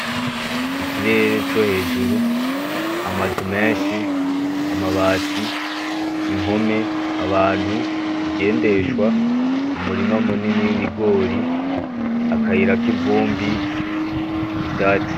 Ikerere co hejuru, amazu menshi, amabati, impome, abantu, ibigendeshwa, umurima munini w'ibigori, akayira k'ivumbi, ivyatsi.